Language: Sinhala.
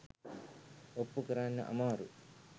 ඔප්පු කරන්න අමාරු.